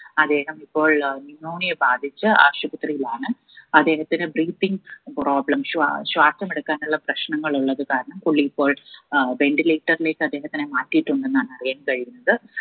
അദ്ദേഹം ഇപ്പോൾ അഹ് pneumonia ബാധിച്ച് ആശുപത്രിയിലാണ് അദ്ദേഹത്തിന് breathing problem ശ്വാ ശ്വാസമെടുക്കാനുള്ള പ്രശ്നങ്ങൾ ഉള്ളത് കാരണം പുള്ളി ഇപ്പോൾ ഏർ ventilator ലേക്ക് അദ്ദേഹത്തിനെ മാറ്റിയിട്ടുണ്ടെന്നാണ് അറിയാൻ കഴിഞ്ഞത്